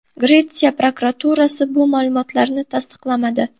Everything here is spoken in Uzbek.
Gretsiya prokuraturasi bu ma’lumotlarni tasdiqlamadi.